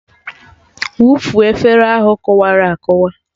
Wụfuo efere ahụ kụwara akụwa!